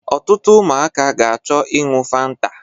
Otụtụ ụmụaka ga-acho iñyu fanta